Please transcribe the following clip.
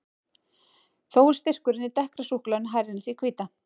Þó er styrkurinn í dekkra súkkulaðinu hærri en í því hvíta.